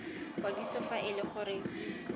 kwadiso fa e le gore